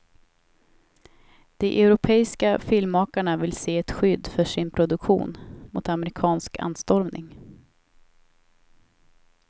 De europeiska filmmakarna vill se ett skydd för sin produktion mot amerikansk anstormning.